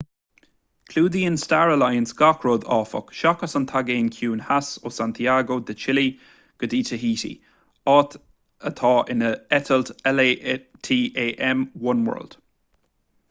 clúdaíonn star alliance gach rud áfach seachas an taigéan ciúin theas ó santiago de chile go dí taihítí atá ina eitilt latam oneworld